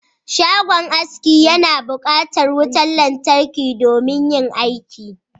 Shagon aski yana buƙatar wutar lantarki domin yin aiki